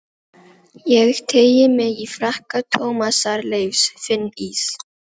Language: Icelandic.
Ég teygi mig í frakka Tómasar Leifs, finn ís